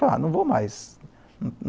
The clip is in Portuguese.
não vou mais.